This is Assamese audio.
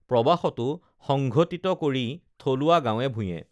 প্ৰৱাসতো সংঘটিত কৰি থলুৱা গাঁৱে ভূঞেঁ